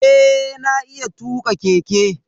Eh na iya tuka keke.